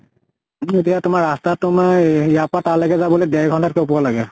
কিন্তু এতিয়া তোমাৰ ৰাস্তা তোমাৰ ইয়াৰ পৰা তালেকে যাবলে দেৰ ঘন্তা ত কে ওপৰ লাগে ।